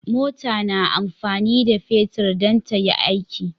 mota na amfani da fetir dan tayi aiki